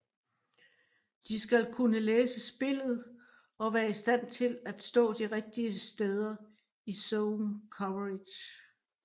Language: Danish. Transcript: De skal kunne læse spillet og være i stand til at stå de rigtige steder i zone coverage